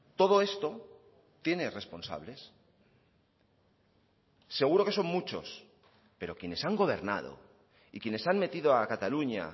todo esto tiene responsables seguro que son muchos pero quienes han gobernado y quienes han metido a cataluña